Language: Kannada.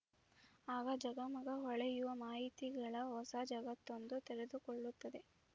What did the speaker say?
ಆಗ ಝಗಮಗ ಹೊಳೆಯುವ ಮಾಹಿತಿಗಳ ಹೊಸ ಜಗತ್ತೊಂದು ತೆರೆದುಕೊಳ್ಳುತ್ತದೆ